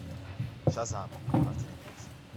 шазам мартина пирсона